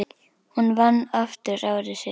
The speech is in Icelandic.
Hún vann aftur ári síðar.